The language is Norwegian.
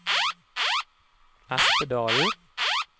Espedalen